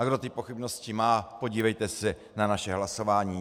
A kdo ty pochybnosti má, podívejte se na naše hlasování.